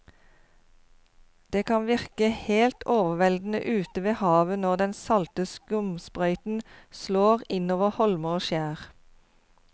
Det kan virke helt overveldende ute ved havet når den salte skumsprøyten slår innover holmer og skjær.